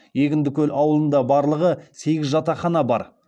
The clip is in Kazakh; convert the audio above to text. егіндікөл ауылында барлығы сегіз жатақхана бар